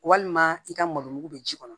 Walima i ka malo mugu bɛ ji kɔnɔ